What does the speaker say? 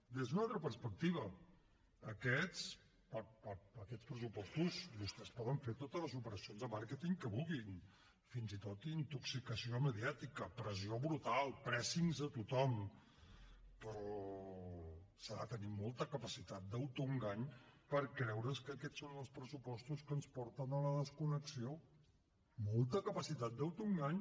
des d’una altra perspectiva per aquests pressupostos vostès poden fer totes les operacions de màrqueting que vulguin fins i tot d’intoxicació mediàtica pressió brutal pressings a tothom però s’ha de tenir molta capacitat d’autoengany per creure’s que aquests són els pressupostos que ens porten a la desconnexió molta capacitat d’autoengany